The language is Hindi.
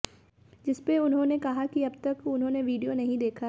जिसमें उन्होंने कहा कि अब तक उन्होंने वीडियो नहीं देखा है